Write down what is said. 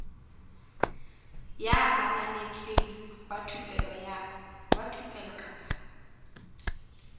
ya ananetsweng wa thupelo kapa